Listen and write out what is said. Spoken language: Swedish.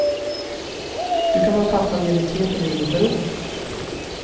Du kan vara pappaledig tre perioder per år.